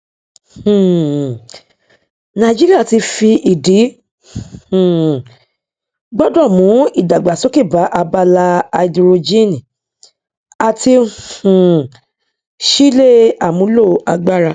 um nàìjíríà ti fi ìdí um gbọdọ mú ìdàgbàsókè bá abala háídírójìn àti um ṣíle àmúlo agbára